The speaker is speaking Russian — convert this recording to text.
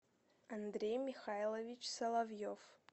андрей михайлович соловьев